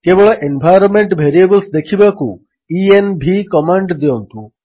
କେବଳ environment variables ଦେଖିବାକୁ ENV command ଦିଅନ୍ତୁ